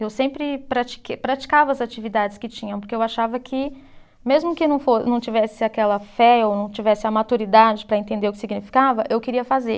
Eu sempre pratiquei, praticava as atividades que tinham, porque eu achava que, mesmo que não fo, não tivesse aquela fé ou não tivesse a maturidade para entender o que significava, eu queria fazer.